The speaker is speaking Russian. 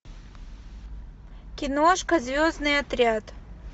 киношка звездный отряд